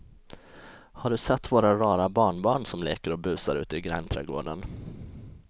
Har du sett våra rara barnbarn som leker och busar ute i grannträdgården!